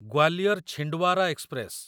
Gwalior Chhindwara express